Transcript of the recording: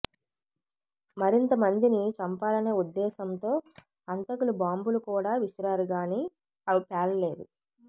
మరింత మందిని చంపాలనే ఉద్దేశంతో హంతకులు బాంబులు కూడా విసిరారు గానీ అవి పేలలేదు